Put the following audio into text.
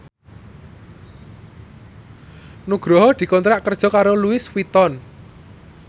Nugroho dikontrak kerja karo Louis Vuitton